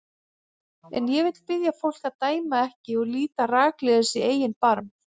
En ég vil biðja fólk að dæma ekki og líta rakleiðis í eigin barm.